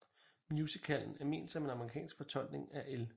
Musicallen er ment som en amerikansk fortolkning af L